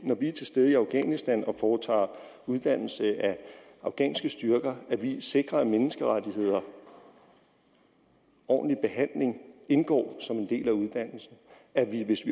vi er til stede i afghanistan og foretager uddannelse af afghanske styrker sikrer at menneskerettigheder og ordentlig behandling indgår som en del af uddannelsen at vi hvis